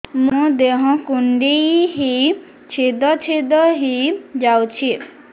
ମୋ ଦେହ କୁଣ୍ଡେଇ ହେଇ ଛେଦ ଛେଦ ହେଇ ଯାଉଛି